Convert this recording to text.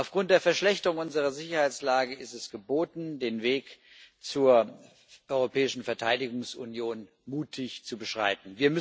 Aufgrund der Verschlechterung unserer Sicherheitslage ist es geboten, den Weg zur europäischen Verteidigungsunion mutig zu beschreiten.